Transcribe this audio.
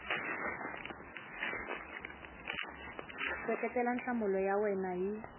seketela nhlamulo ya wena hi